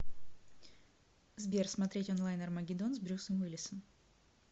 сбер смотреть онлайн армагеддон с брюсом уиллисом